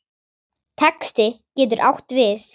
Texti getur átt við